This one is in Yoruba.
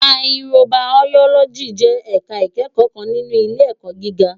Màyíkróbàyólòjí jè èká ikèékò kán ninú ilé èkò gigá